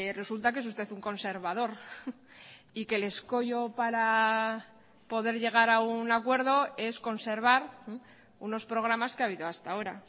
resulta que es usted un conservador y que el escollo para poder llegar a un acuerdo es conservar unos programas que ha habido hasta ahora